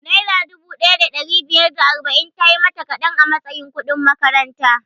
Naira dubu ɗaya da ɗari biyar da arba'in tayi mata kaɗan a matsayin kudin makaranta